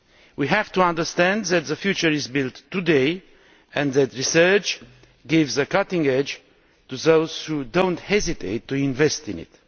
We have to understand that the future is built today and that research gives a cutting edge to those who do not hesitate to invest in it.